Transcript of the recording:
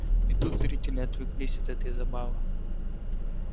и тут зрители отвлеклись от этой забавы